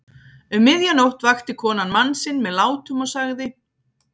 Um miðja nótt vakti konan mann sinn með látum og sagði